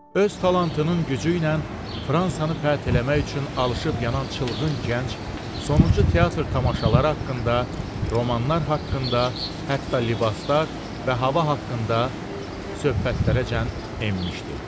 Öz talantının gücü ilə Fransanı fəth eləmək üçün alışıb yanan çılğın gənc sonuncu teatr tamaşaları haqqında, romanlar haqqında, hətta libaslar və hava haqqında söhbətlərəcən enmişdi.